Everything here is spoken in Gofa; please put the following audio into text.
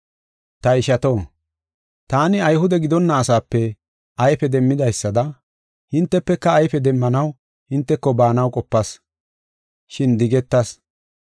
Ta ishato, taani Ayhude gidonna asaape ayfe demmidaysada, hintefeka ayfe demmanaw hinteko baanaw qopas, shin digetas.